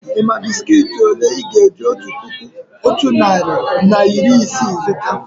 Ị́ mà bị́sikití òlé Ị́ ga-eji otu puku otu narị na iri isii azụta?